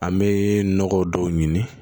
An bɛ nɔgɔ dɔw ɲini